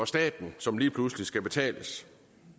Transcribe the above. staten som lige pludselig skal betales